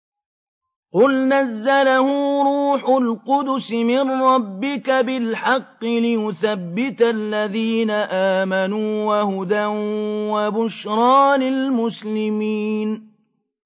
قُلْ نَزَّلَهُ رُوحُ الْقُدُسِ مِن رَّبِّكَ بِالْحَقِّ لِيُثَبِّتَ الَّذِينَ آمَنُوا وَهُدًى وَبُشْرَىٰ لِلْمُسْلِمِينَ